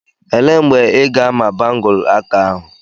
Elee mgbe ị ga-ama bangụlu aka ahụ?